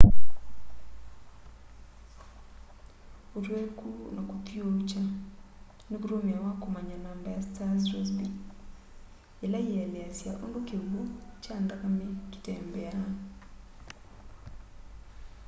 ũtwekũ na kũthĩũũkya nĩ kũtũmĩawa kũmanya namba ya star's rossby ĩla yĩeleasya ũndũ kĩw'ũ kya nthakame kĩtembeaa